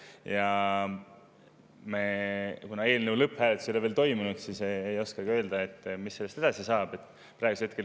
Ja kuna eelnõu lõpphääletus ei ole veel toimunud, siis ma ei oska öelda, mis sellest edasi saab.